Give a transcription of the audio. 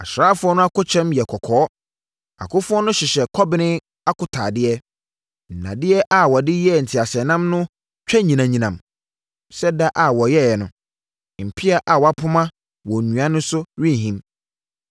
Asraafoɔ no akokyɛm yɛ kɔkɔɔ; akofoɔ no hyehyɛ kɔben akotaadeɛ. Nnadeɛ a wɔde yɛɛ nteaseɛnam no twa nyinam nyinam sɛ da a wɔyɛeɛ no; mpea a wapoma wɔ nnua so no rehim.